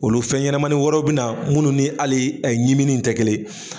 Olu fɛn ɲɛnɛmaniw wɛrɛ bɛna munnu ni hali ɲimini tɛ kelen ye.